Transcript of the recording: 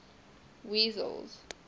wessels